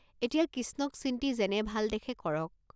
এতিয়া কিষ্ণক চিন্তি যেনে ভাল দেখে কৰক।